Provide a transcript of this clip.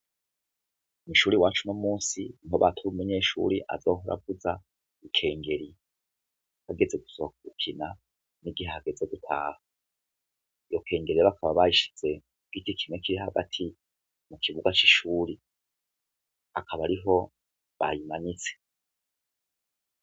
Kw'ishure iwacu uno munsi niho bakira umunyeshure azohora avuza ikengeri hageze gusohoka gukina n'igihe hageze gutaha, iryo kengeri rero bakaba barishize ku giti kimwe kiri hagati mu kibuga c'ishure, akaba ariho bayimanitse.